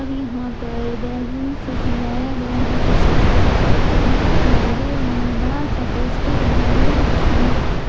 और यहां पर बैलून से सजाया गया है कुछ केले के पत्ते भी दिखाई दे रहे हैं बड़ा सा पोस्टर लगा हुआ है जिसमें--